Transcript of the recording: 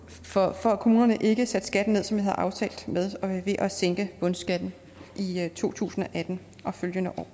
for at kommunerne ikke satte skatten ned som vi havde aftalt ved at sænke bundskatten i to tusind og atten og følgende år